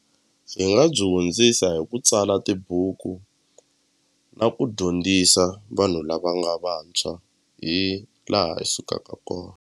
Hi nga byi hundzisa hi ku tsala tibuku na ku dyondzisa vanhu lava nga vantshwa hi laha hi sukaka kona.